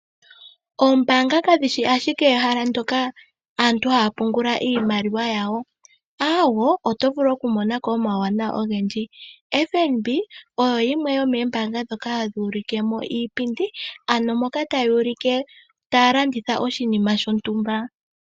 Oombaanga kadhishi adhike ehala moka aantu haya pungula iimaliwa aawe, oto vulu okumona ko omawuwanawa ogendji. FNB oyo yimwe yomoombanga ndhoka hadhi ulike iipindi ano taya ulike taya landitha oshinima shontumba.